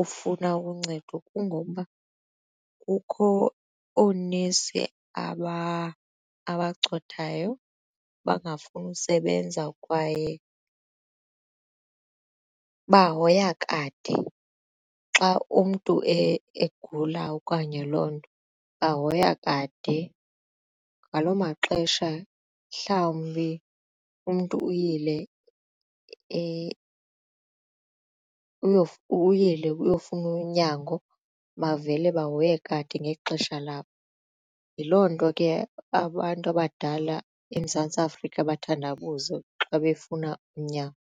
ukufuna uncedo kungokuba kukho oonesi abacothayo abangafuni usebenza kwaye bahoya kade xa umntu egula okanye loo nto bahoya kade ngaloo maxesha mhlawumbi umntu uyile ukuyofuna unyango bavele bahoye kade ngexesha labo. Yiloo nto ke abantu abadala eMzantsi Afrika bathandabuze xa befuna unyango.